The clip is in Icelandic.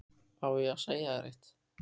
Á ég að segja þér eitt?